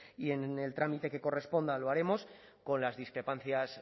y en el trámite que corresponda lo haremos con las discrepancias